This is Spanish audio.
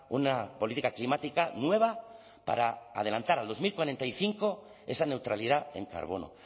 una política climática nueva para adelantar al dos mil cuarenta y cinco esa neutralidad en carbono